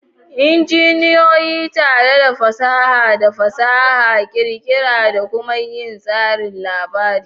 Injiniyoyi tare da fasaha da fasaha ƙirƙira da kuma yin tsarin labari.